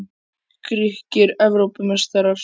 Grikkir Evrópumeistarar!?